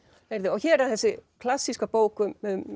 hér er þessi klassíska bók um